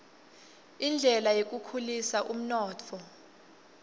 indlela yekukhulisa umnotfo